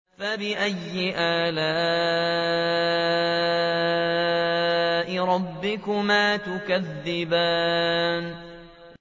فَبِأَيِّ آلَاءِ رَبِّكُمَا تُكَذِّبَانِ